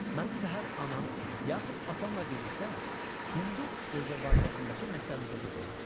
Mən səhər anam yaxud atamla birlikdə hindu rezervasiyasındakı məktəbimizə gedirəm.